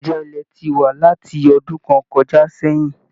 Ìjà ilẹ ti wa láti ọdún kàn kọjá sẹyìn.